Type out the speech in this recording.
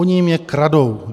Oni jim je kradou.